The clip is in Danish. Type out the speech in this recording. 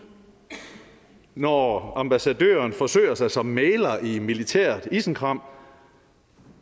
når ambassadøren forsøger sig som mægler i militært isenkram